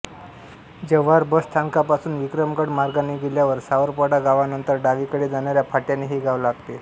Jawhar bus स्थानकापासून विक्रमगड मार्गाने गेल्यावर सावरपाडा गावानंतर डावीकडे जाणाऱ्या फाट्याने हे गाव लागते